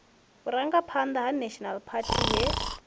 vhurangaphanḓa ha national party he